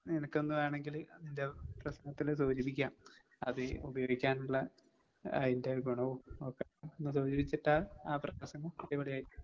നിനക്കൊന്ന് വേണെങ്കില് അതിന്റെ പ്രശ്നത്തില് സൂചിപ്പിക്കാം. അത് ഉപയോഗിക്കാനുള്ള അതിന്റെ ഗുണവും ഒക്കെ ഒന്ന് സൂചിപ്പിച്ചിട്ടാൽ ആ പ്രസംഗം അടിപൊളിയായിരിക്കും.